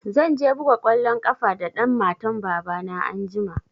Zan je buga kwalon ƙafa da ɗan matan baba na anjima